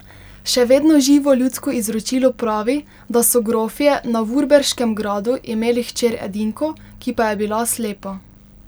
Še vedno živo ljudsko izročilo pravi, da so grofje na vurberškem gradu imeli hčer edinko, ki pa je bila slepa.